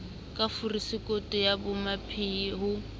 ka forosekoto ya bomamphehi ho